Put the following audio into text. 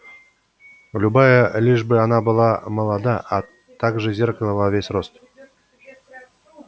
любая лишь бы она была молода а также зеркало во весь рост